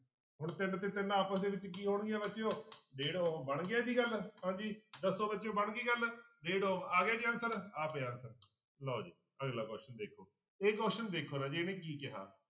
ਹੁਣ ਤਿੰਨ ਤੇ ਤਿੰਨ ਆਪਸ ਦੇ ਵਿੱਚ ਕੀ ਹੋਣਗੀਆਂ ਬੱਚਿਓ ਡੇਢ ਬਣ ਗਿਆ ਜੀ ਗੱਲ ਹਾਂਜੀ ਦੱਸੋ ਬੱਚਿਓ ਬਣ ਗਈ ਗੱਲ ਡੇਢ ਆ ਗਿਆ ਜੀ answer ਆ ਪਿਆ answer ਲਓ ਜੀ ਅਗਲਾ question ਦੇਖੋ ਇਹ question ਦੇਖੋ ਰਾਜੇ ਇਹਨੇ ਕੀ ਕਿਹਾ।